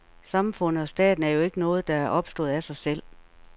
Samfundet og staten er jo ikke noget, der er opstået af sig selv.